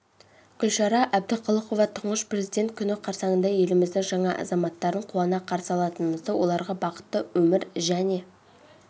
гүлшара әбдіқалықова тұңғыш президент күні қарсаңында еліміздің жаңа азаматтарын қуана қарсы алатынымызды оларға бақытты өмір және